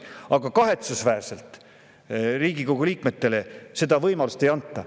Aga kahetsusväärselt Riigikogu liikmetele seda võimalust ei anta.